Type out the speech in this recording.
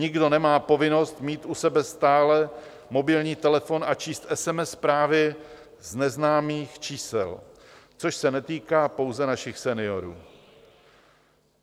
Nikdo nemá povinnost mít u sebe stále mobilní telefon a číst SMS zprávy z neznámých čísel, což se netýká pouze našich seniorů.